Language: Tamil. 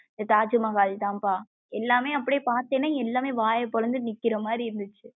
தாஜ்மஹால்தான்பா எல்லாமமே அப்படியே பாத்தேன்ன எல்லாமமே அப்படியே வாய பொளந்துட்டு நிக்கிரமாரி இருந்துச்சு.